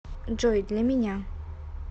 джой для меня